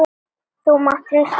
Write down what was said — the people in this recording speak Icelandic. Þú mátt treysta því!